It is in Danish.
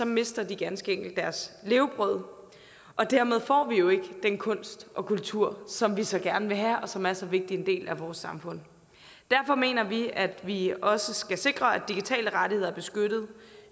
mister de ganske enkelt deres levebrød og dermed får vi jo ikke den kunst og kultur som vi så gerne vil have og som er så vigtig en del af vores samfund derfor mener vi at vi også skal sikre at digitale rettigheder er beskyttet